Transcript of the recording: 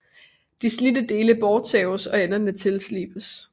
De slidte dele bortsaves og enderne tilslibes